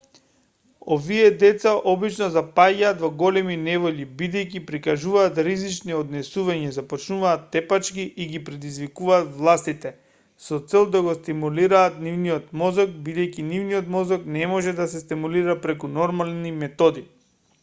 овие деца обично запаѓаат во големи неволји бидејќи прикажуваат ризични однесувања започнуваат тепачки и ги предизвикуваат властите со цел да го стимулираат нивниот мозок бидејќи нивниот мозок не може да се стимулира преку нормални методи